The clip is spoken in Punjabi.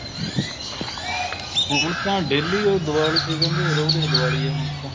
ਹੁਣ ਤਾਂ daily ਉਹ ਦੀਵਾਲੀ ਰਹਿੰਦੀ ਏ ਰੋਜ ਏ ਦੀਵਾਲੀ ਆ ਹੁਣ ਤਾਂ